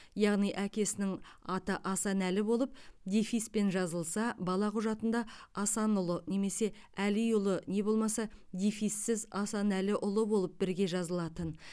яғни әкесінің аты асан әлі болып дефиспен жазылса бала құжатында асанұлы немесе әлиұлы не болмаса дефиссіз асанәліұлы болып бірге жазылатын